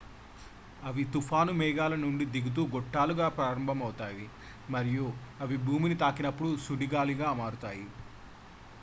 "అవి తుఫాను మేఘాల నుండి దిగుతూ గొట్టాలుగా ప్రారంభమవుతాయి మరియు అవి భూమిని తాకినప్పుడు "సుడిగాలులు""గా మారుతాయి.